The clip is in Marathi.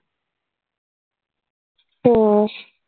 हो.